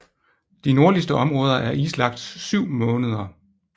De nordligste områder er islagt 7 måneder